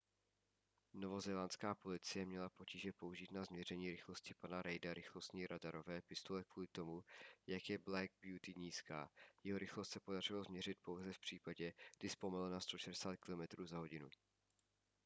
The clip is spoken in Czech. novozélandská policie měla potíže použít na změření rychlosti pana reida rychlostní radarové pistole kvůli tomu jak je black beauty nízká. jeho rychlost se podařilo změřit pouze v případě kdy zpomalil na 160km/h